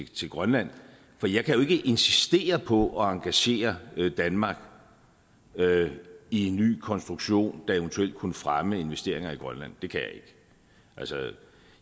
til grønland for jeg kan jo ikke insistere på at engagere danmark i en ny konstruktion der eventuelt kunne fremme investeringer i grønland det kan jeg ikke altså